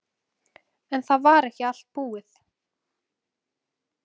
En það var ekki allt búið.